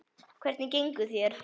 Hvernig gengur þér?